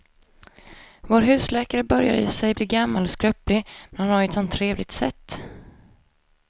Vår husläkare börjar i och för sig bli gammal och skröplig, men han har ju ett sådant trevligt sätt!